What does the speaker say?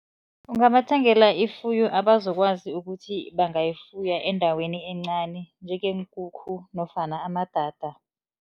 Ungabathengela ifuyo abazokwazi ukuthi bangayifuya endaweni encani njengeenkukhu nofana amadada.